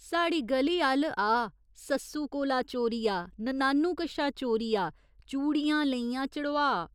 साढ़ी ग'ली अल्ल आ सस्सु कोला चोरिया, ननानु कशा चोरिया, चूड़ियां लेइयां चढ़ोआऽ।